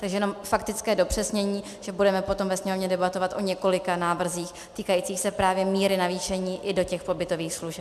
Takže jenom faktické dopřesnění, že budeme potom ve Sněmovně debatovat o několika návrzích týkajících se právě míry navýšení i do těch pobytových služeb.